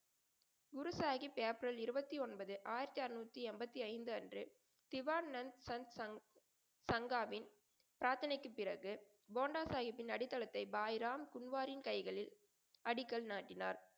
குரு Sahib April இருவத்தி ஒன்பது ஆயிரத்தி அறநூத்தி எண்பத்தி ஐந்து அன்று திவாண்ணன் சங் சங் சங்காவின் பிராத்தனைக்கு பிறகு, போண்டா சாஹிப்பின் அடித்தளத்தை பாய்ராம் கும்வாரின் கைகளில் அடிக்கல் நாட்டினார்.